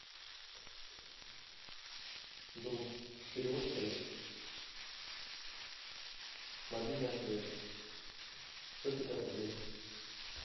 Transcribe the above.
друг перевод средств мобильная связь сто пятьдесят рублей